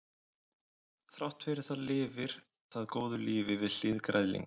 þrátt fyrir það lifir það góðu lífi við hlið græðlinga